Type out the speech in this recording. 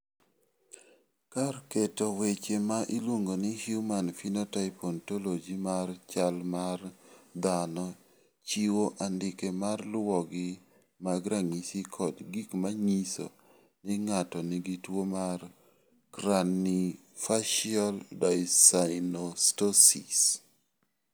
Kar keto weche ma iluongo ni Human Phenotype Ontology mar chal mar dhano chiwo andike ma luwogi mag ranyisi kod gik ma nyiso ni ng�ato nigi tuo mar Craniofacial dyssynostosis.